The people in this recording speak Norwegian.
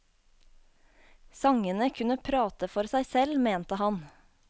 Sangene kunne prate for seg selv, mente han.